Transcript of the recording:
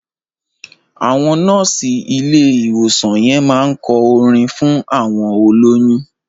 Àwọn nọ́ọ̀sì ilé ìwòsàn yẹn máá ń kọ orin fún àwọn olóyún